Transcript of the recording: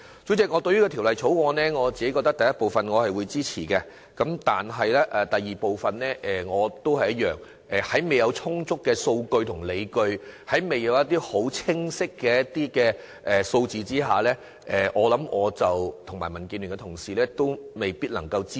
主席，我支持《條例草案》第一組的修正案，但未看到第二組的修正案有充足理據及清晰數字之前，我與民建聯的同事未必能夠支持。